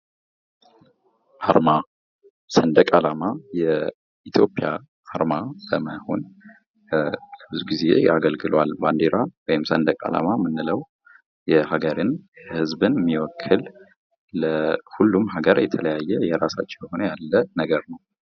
ዓርማ ሰንደቅ ዓላማ የኢትዮጵያ አርማ ለመሆን ብዙ ጊዜ አገልግሏል። ባንዲራ ወይም ሰንደቅ አላማ ምንለው የሀገርን የህዝብን የሚወክል። ለሁሉም ሀገር የተለያየ የራሳቸው የሆነ ያለ ነገር ነው።